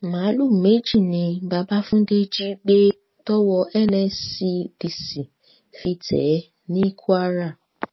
máàlùú méjì ni bàbáfúndé jí gbé tọwọ nscdc fi tẹ ẹ ní kwara